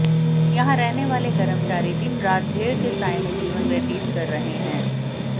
यहां रहने वाले कर्मचारी दिनरात भय के साये में जीवन व्यतीत कर रहे हैं